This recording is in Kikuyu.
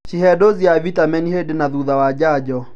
Cihe dosi ya vitameni hĩndĩ na thutha wa njanjo